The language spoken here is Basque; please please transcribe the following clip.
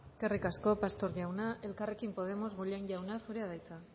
eskerrik asko pastor jauna elkarrekin podemos bollain jauna zurea da hitza